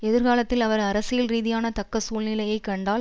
எதிர்காலத்தில் அவர் அரசியல் ரீதியான தக்க சூழ்நிலையைக் கண்டால்